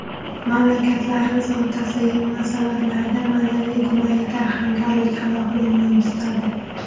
Mamlakatlarimiz o‘rtasidagi munosabatlarda madaniy-gumanitar hamkorlik alohida o‘rin tutadi.